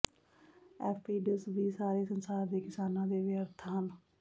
aphids ਵੀ ਸਾਰੇ ਸੰਸਾਰ ਦੇ ਕਿਸਾਨਾਂ ਦੇ ਵਿਅਰਥ ਹਨ